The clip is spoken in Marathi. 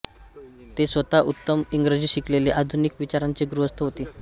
ते स्वतः उत्तम इंग्रजी शिकलेले आधुनिक विचारांचे गृहस्थ होते